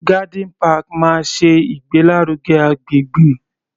Garden park máa ṣe ìgbé lárugẹ agbègbè.